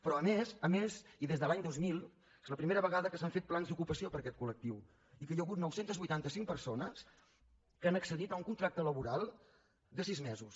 però a més a més i des de l’any dos mil és la primera vegada que s’han fet plans d’ocupació per a aquest col·lectiu i hi ha hagut nou cents i vuitanta cinc persones que han accedit a un contracte laboral de sis mesos